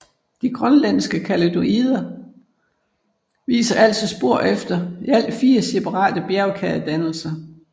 De grønlandske kaledonider viser altså spor efter i alt fire separate bjergkædedannelser